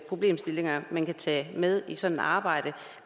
problemstillinger man kan tage med i sådan et arbejde